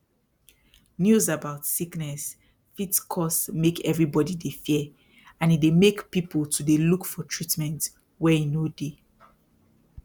news about sickness fit cause make eveybody dey fear and e dey make people to dey look for treatment where e no dey